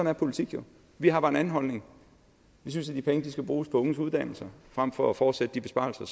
er politik jo vi har bare en anden holdning vi synes at de penge skal bruges på unges uddannelse frem for at fortsætte de besparelser